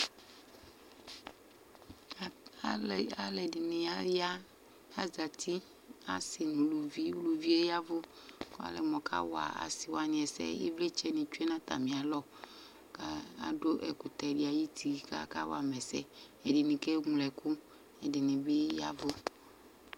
Alʋ ɛdɩnɩ aya, azǝtɩ asɩ nʋ uluvi, uluvi yɛ yavʋ Alɛ mʋ ɔkawa asɩwanɩ ɛsɛ Ivlitsɛ nɩ tsʋe nʋ atamɩ alɔ, kʋ adʋ ɛkʋtɛ dɩ ayʋ uti kʋ akawa ma ɛsɛ Ɛdɩnɩ ke ŋlo ɛkʋ, ɛdɩnɩ bɩ yavʋ